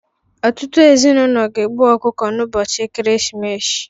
Ọtụtụ ezinụlọ ga-egbu ọkụkọ n'ụbọchị ekeresimesi